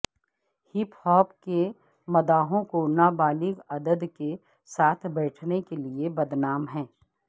hip hop کے مداحوں کو نابالغ عدد کے ساتھ بیٹھنے کے لئے بدنام ہیں